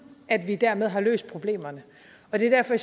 at vi dermed har løst problemerne og det er derfor